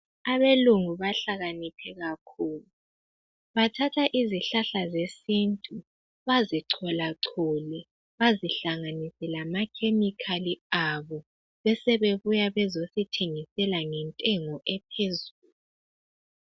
Abelungu bahlakaniphe kakhulu. Bathatha izihlahla zesintu bazicholachole. Bazihlanganise lamakhemikhali abo. Besebebuya bezosithengisela ngentengo ephezulu.